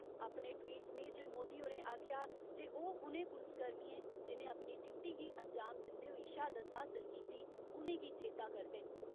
अपने ट्वीट सनेह च मोदी होरें आक्खेया जे ओ उनें पुलसकर्मियें जिनें अपनी ड्यूटी गी अंजाम दिन्दे होई शहादत हासल कीती उनेंगी चेता करदे न।